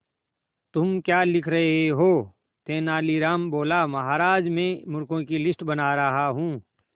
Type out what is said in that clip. तुम क्या लिख रहे हो तेनालीराम बोला महाराज में मूर्खों की लिस्ट बना रहा हूं